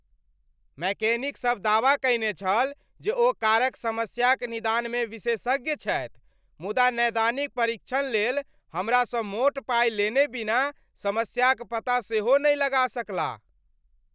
मैकेनिकसभ दावा कयने छल जे ओ कारक समस्याक निदानमे विशेषज्ञ छथि मुदा 'नैदानिक परीक्षण' लेल हमरासँ मोट पाइ लेने बिना समस्याक पता सेहो नहि लगा सकलाह?